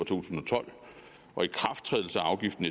tusind og tolv og ikrafttrædelse af afgiften